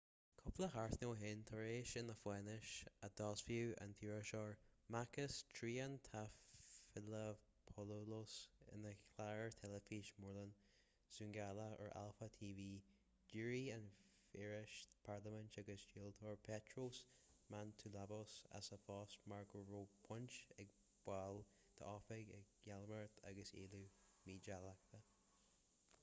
cúpla seachtain ó shin tar éis na faisnéise a d'fhoilsigh an t-iriseoir makis triantafylopoulos ina chlár teilifíse móréilimh zoungla ar alpha tv d'éirigh an feisire parlaiminte agus dlíodóir petros mantouvalos as a phost mar go raibh baint ag baill dá oifig i gcaimiléireacht agus éilliú mídhleathach